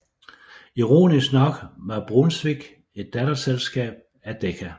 Ironisk nok var Brunswick et datterselskab til Decca